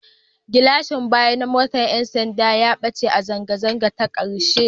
Gilashin baya na motar 'yan sanda ya ɓace a zanga-zangar ta ƙarshe